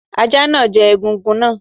Ajá náà jẹ egungun náà.